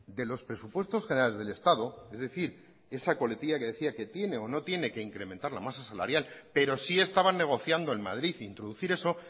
de los presupuestos generales del estado es decir esa coletilla que decía que tiene o no tiene que incrementar la masa salarial pero sí estaban negociando en madrid introducir eso